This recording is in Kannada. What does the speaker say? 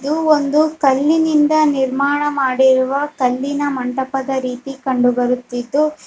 ಇದು ಒಂದು ಕಲ್ಲಿನಿಂದ ನಿರ್ಮಾಣಮಾಡಿರುವ ಕಲ್ಲಿನ ಮಂಟಪದ ರೀತಿ ಕಂಡುಬರುತ್ತಿದ್ದು---